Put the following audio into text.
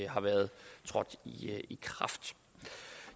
har været trådt i kraft